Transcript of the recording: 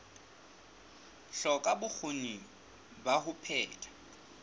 hloka bokgoni ba ho phetha